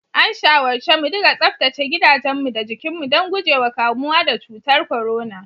An shawarce mudiga tsaftace gidajenmu da jikinmu don guje wa kamuwa da cutar corona.